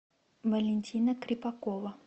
валентина крепакова